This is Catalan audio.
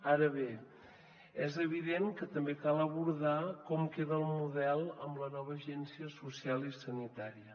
ara bé és evident que també cal abordar com queda el model amb la nova agència social i sanitària